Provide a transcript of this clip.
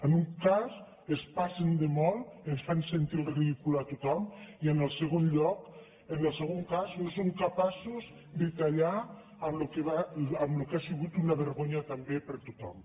en un cas es passen de molt ens fan sentir el ridícul a tothom i en el segon cas no són capaços de tallar amb el que ha sigut una vergonya també per a tothom